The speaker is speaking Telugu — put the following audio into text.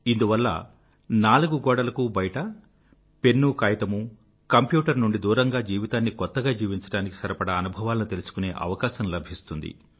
ఇందువల్ల నాలుగు గోడలకు బయట పెన్నూ కాయితమూ కంప్యూటర్ నుండి దూరంగా జీవితాన్ని కొత్తగా జీవించడానికి సరిపడా అనుభవాలను తెలుసుకునే అవకాశం లభిస్తుంది